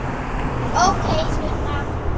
Ókei, Sunna.